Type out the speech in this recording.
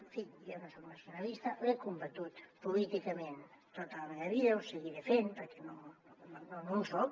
en fi jo no sóc nacionalista ho he combatut políticament tota la meva vida ho seguiré fent perquè no en soc